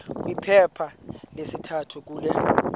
kwiphepha lesithathu kule